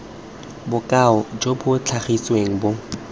bokao jo bo tlhagisitsweng bo